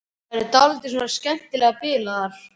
Þær eru dálítið svona skemmtilega bilaðar.